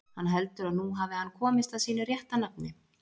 Hann heldur að nú hafi hann komist að sínu rétta nafni.